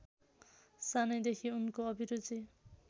सानैदेखि उनको अभिरुचि